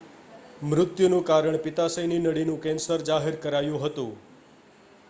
મૃત્યુનું કારણ પિત્તાશયની નળીનું કેન્સર જાહેર કરાયું હતું